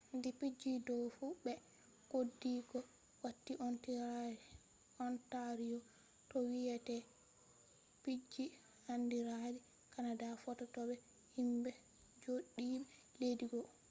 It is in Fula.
di piiji do fu be goɗɗi goo watti ontario to wiyete piiji andiradi canada fotta to be himɓe joodiɓe leddi goo